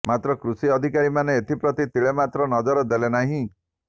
ମାତ୍ର କୃଷି ଅଧିକମାନେ ଏଥିପ୍ରତି ତିଳେ ମାତ୍ର ନଜର ଦେଲେ ନାହିଁ